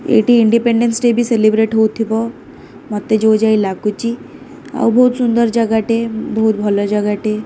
ଏଇଠି independence day ବି celebrate ହଉଥିବ ମତେ ଯଉ ଯାଏ ଲାଗୁଚି ଆଉ ବହୁତ ସୁନ୍ଦର ଜାଗା ଟେ ବହୁତ ଭଲ ଜାଗା ଟେ।